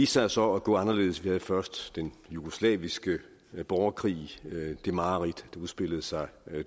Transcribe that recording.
sig så at gå anderledes vi havde først den jugoslaviske borgerkrig og det mareridt der udspillede sig